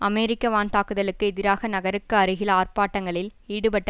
அமெரிக்க வான் தாக்குதலுக்கு எதிராக நகருக்கு அருகில் ஆர்ப்பாட்டங்களில் ஈடுபட்ட